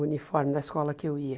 O uniforme da escola que eu ia.